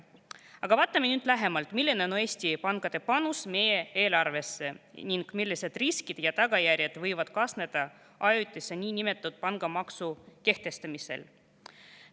Aga vaatame nüüd lähemalt, milline on Eesti pankade panus meie eelarvesse ning millised riskid ja tagajärjed võivad kaasneda ajutise niinimetatud pangamaksu kehtestamisega.